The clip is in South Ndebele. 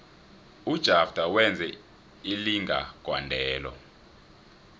ujafter wenze ilinga gondelo